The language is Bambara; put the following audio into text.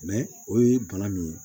o ye bana min ye